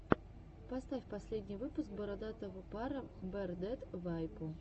поставь последний выпуск бородатого пара бэрдэд вэйпо